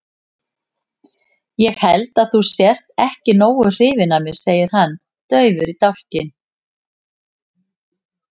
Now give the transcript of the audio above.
Ég held að þú sért ekki nógu hrifin af mér, segir hann daufur í dálkinn.